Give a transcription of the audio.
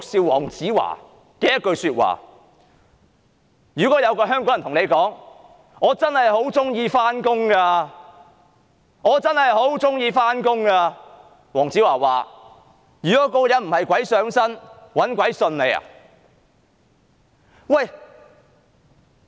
黃子華說，如果有一名香港人說"我真的很喜歡上班"，他認為這個人必定是鬼上身，否則便是"搵鬼信"。